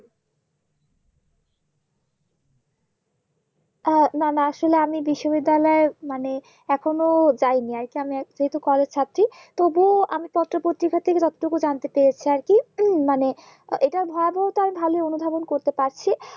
আহ না না আসলে আমি বিশ্ব বিদ্যালয়ে মানে এখনো যায়নি আরকি আমি যেহুতু College ছাত্রী তবু আমি পত্র পত্রিকার থেকে বক্তব্য জানতে পেরেছি আরকি মানে এটার ভয়াবহটা ভালো অনুধাবন করতে পারছি